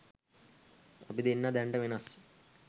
අපි දෙන්නා දැනට වෙනස්